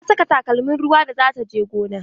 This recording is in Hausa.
Ta saka takalmin ruwa da za ta je gona.